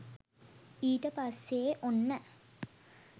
ඊට පස්සෙ ඔන්න